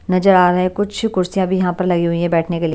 नजर आ रहा है कुछ कुर्सियाँ भी यहाँ पर लगी हुई हैं बैठने के लिए--